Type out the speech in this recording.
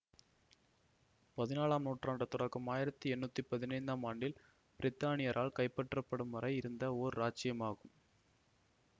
பதினாலாம் ஆம் நூற்றாண்டு தொடக்கம் ஆயிரத்தி எட்டுநூத்தி பதினைந்து ஆம் ஆண்டில் பிரித்தானியரால் கைப்பற்றப்படும் வரை இருந்த ஓர் இராச்சியமாகும்